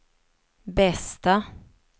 bästa